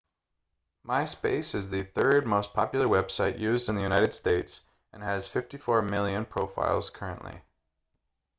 myspace is the third most popular website used in the united states and has 54 million profiles currently